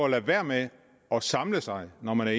at lade være med at samle sig når man er